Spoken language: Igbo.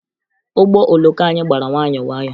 Ụgbọ oloko anyị gbara nwayọọ nwayọọ